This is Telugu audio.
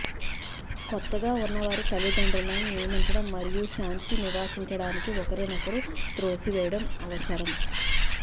కొత్తగా ఉన్నవారి తల్లిదండ్రులను నియమించడం మరియు శాంతి నివసించడానికి ఒకరినొకరు త్రోసివేయడం అవసరం